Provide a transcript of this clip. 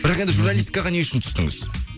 бірақ енді журналистикаға не үшін түстіңіз